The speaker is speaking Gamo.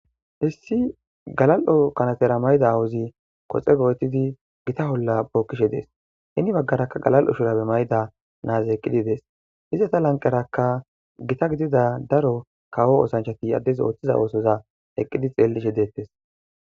Issi galal'o kanetera mayida awozi koxxe gochidi gotta olla bokkishe de'es heni bagaraka galal'o shurabe mayida nazi eqidi de'es izzeta lanqerakka gotta gidida daro kawo osanchati added othiza osoza eqidi xelleshe dettes.